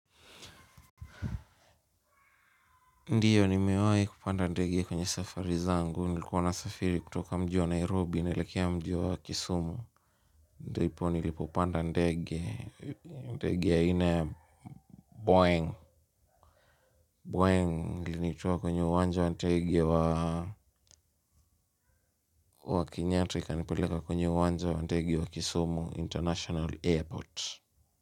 Ndiyo nimewahi kupanda ndege kwenye safari zangu, nilikuwa nasafiri kutoka mji wa Nairobi, naelekea mji wa Kisumu, ndipo nilipopanda ndege, ndege ya aina Boeng, Boeng, ilinitua kwenye uwanja wa ndege wa wa Kenyatta, ikanipeleka kwenye uwanja wa ndege wa Kisumu International Airport.